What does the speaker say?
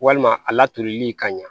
Walima a latoli ka ɲan